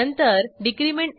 book id 1 वर click करा